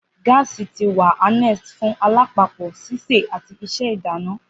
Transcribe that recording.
Gaasi ti wa ni harnessed fun alapapo, sise, ati ise ilana.